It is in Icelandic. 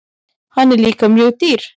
Hann er líka mjög dýr.